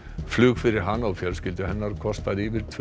flug fyrir hana og fjölskyldu hennar kostar yfir tvö